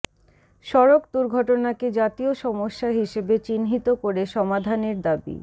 সড়ক দুর্ঘটনাকে জাতীয় সমস্যা হিসেবে চিহ্নিত করে সমাধানের দাবি